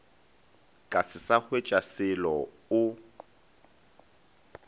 ka se sa hwetšaselo o